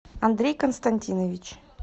андрей константинович